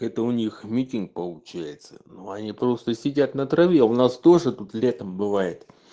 это у них митинг получается но они просто сидят на траве у нас тоже тут летом бывает